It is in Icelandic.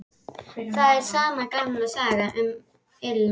Það er sama gamla sagan, um ilm